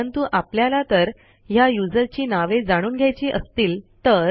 परंतु आपल्याला तर ह्या युजरची नावे जाणून घ्यायची असतील तर